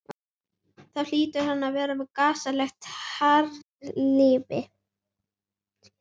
Þá hlýtur hann að vera með gasalegt harðlífi.